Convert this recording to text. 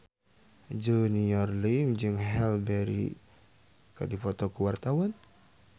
Junior Liem jeung Halle Berry keur dipoto ku wartawan